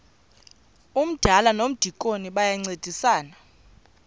umdala nomdikoni bayancedisana